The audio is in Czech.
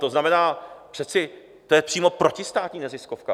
To znamená, to je přece přímo protistátní neziskovka!